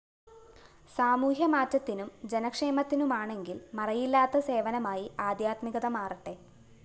സാമൂഹ്യമാറ്റത്തിനും ജനക്ഷേമത്തിനുമാണെങ്കില്‍ മറയില്ലാത്ത സേവനമായി ആദ്ധ്യാത്മികത മാറട്ടെ